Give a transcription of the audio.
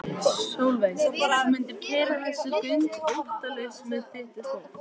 Sólveig: Þú mundir keyra þessi göng óttalaus með þitt fólk?